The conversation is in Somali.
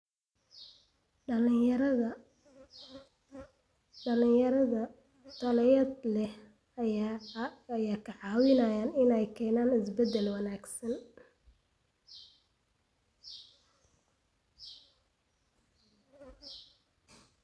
Dalagyada tayada leh ayaa ka caawiya inay keenaan isbeddel wanaagsan.